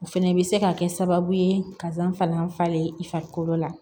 O fɛnɛ bɛ se ka kɛ sababu ye kasan fana falen i farikolo la